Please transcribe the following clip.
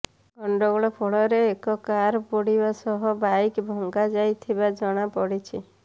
ଗଣ୍ଡଗୋଳ ଫଳରେ ଏକ କାର୍ ପୋଡିବା ସହ ବାଇକ୍ ଭଙ୍ଗା ଯାଇଥିବା ଜଣାପଡିଛି